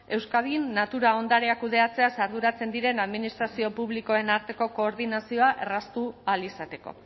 euskadin natura ondarea kudeatzeaz arduratzen diren administrazio publikoen arteko koordinazioa erraztu ahal izateko